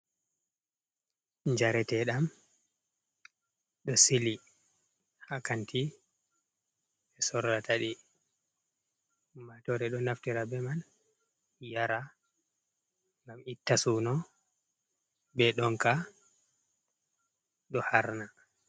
Njareteɗam ɗo Sili ha kanti ɓe Sorratadi. Ummatore ɗo naftira be man Yara ngam itta Suno be ɗonka ɗo harna.